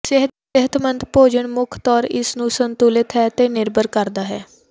ਸਿਹਤਮੰਦ ਭੋਜਨ ਮੁੱਖ ਤੌਰ ਇਸ ਨੂੰ ਸੰਤੁਲਿਤ ਹੈ ਤੇ ਨਿਰਭਰ ਕਰਦਾ ਹੈ